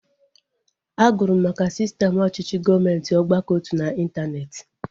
A gụrụ m maka sistem ọchịchị gọọmenti ọgbakọotu na intaneeti